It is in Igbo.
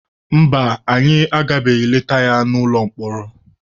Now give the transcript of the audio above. Mba, anyị agabeghị leta ya n'ụlọ mkpọrọ.